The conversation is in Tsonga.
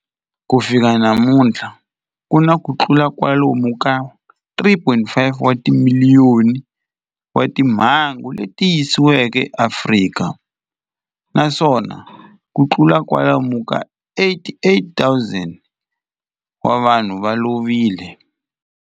Ku fika namuntlha ku na kutlula kwalomu ka 3.5 wa timiliyoni wa timhangu leti tiyisisiweke eAfrika, naswona kutlula kwalomu ka 88,000 wa vanhu va lovile.